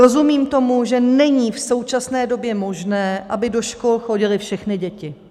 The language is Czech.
Rozumím tomu, že není v současné době možné, aby do škol chodily všechny děti.